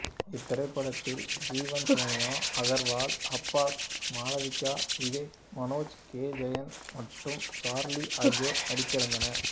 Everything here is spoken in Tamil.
இத்திரைப்படத்தில் ஜீவன் சோனியா அகர்வால் அப்பாஸ் மாளவிகா விவேக் மனேஜ் கே ஜெயின் மற்றும்சார்லி ஆகியோர் நடித்திருந்தனர்